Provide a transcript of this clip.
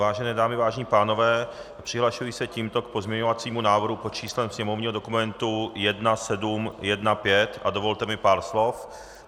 Vážené dámy, vážení pánové, přihlašuji se tímto k pozměňovacímu návrhu pod číslem sněmovního dokumentu 1715 a dovolte mi pár slov.